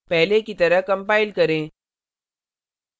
पहले की तरह कंपाइल करें